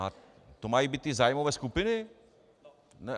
A to mají být ty zájmové skupiny?